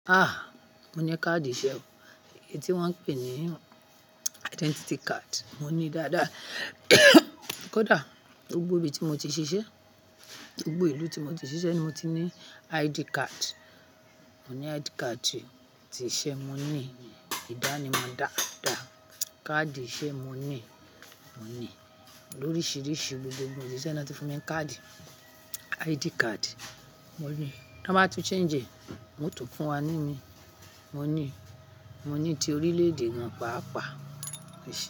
Ah! Mo ní káàdì iṣẹ́, èyí tí wọ́n ń pè ní identity card. Mo ní dáadáa. Kódà gbogbo ibi tí mo ti ṣiṣẹ́, gbogbo ìlú tí mo ti ṣiṣẹ́ ni mo ti ní ID card. Mo ní ID card ti iṣẹ́, mo ní ìdánimọ̀ dáadáa. Káàdì iṣẹ́ mo ní, mo ní oríṣiríṣi ibi tí mo ti ṣiṣẹ́ láti fún mi ní káàdì, ID card. Mo ní, tí wọ́n bá tu change, wọ́n ó tún fún wa ní ní. Mo ní, mo ní ti orílẹ̀-èdè wọn pa àpá.